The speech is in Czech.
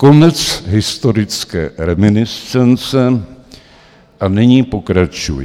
Konec historické reminiscence a nyní pokračuji.